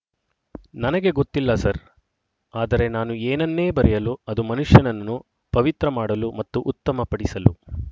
ನನಗೆ ಗೊತ್ತಿಲ್ಲ ಸರ್ ಆದರೆ ನಾನು ಏನನ್ನೇ ಬರೆಯಲು ಅದು ಮನುಷ್ಯನನ್ನು ಪವಿತ್ರ ಮಾಡಲು ಮತ್ತು ಉತ್ತಮಪಡಿಸಲು